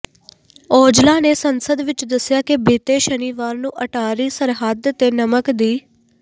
ਔਜਲਾ ਨੇ ਸੰਸਦ ਵਿੱਚ ਦੱਸਿਆ ਕਿ ਬੀਤੇ ਸ਼ਨੀਵਾਰ ਨੂੰ ਅਟਾਰੀ ਸਰਹੱਦ ਤੇ ਨਮਕ ਦੀ